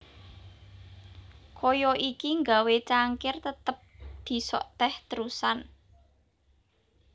Kaya iki nggawé cangkir tetep disok teh terusan